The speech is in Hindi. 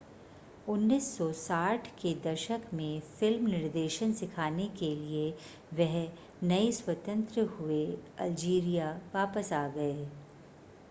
1960 के दशक में फिल्म निर्देशन सिखाने के लिए वह नए स्वतंत्र हुए अल्जीरिया वापस आ गए